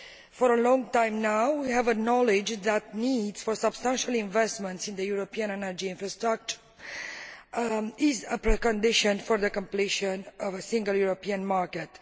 For a long time now we have acknowledged that the need for substantial investment in the European energy infrastructure is a precondition for the completion of the single European market.